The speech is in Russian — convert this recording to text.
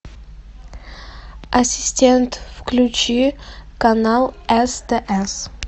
ассистент включи канал стс